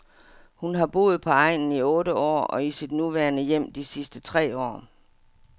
Hun har boet på egnen i otte år og i sit nuværende hjem de sidste tre år.